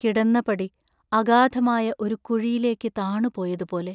കിടന്നപടി അഗാധമായ ഒരു കുഴിയിലേക്കു താണു പോയതുപോലെ.